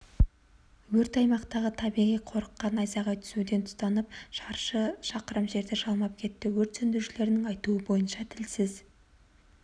өрт аймақтағы табиғи қорыққа назайғай түсуден тұтанып шаршы шақырым жерді жалмап кетті өрт сөндірушілердің айтуынша тілсіз